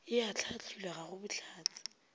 e ahlaahlilwe ga go bohlatse